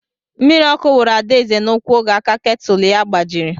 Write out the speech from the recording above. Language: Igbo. Mmiri ọkụ wuru Adaeze n'úkwu oge aka ketụl ya gbajiri.